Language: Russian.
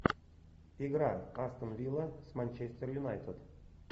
игра астон вилла с манчестер юнайтед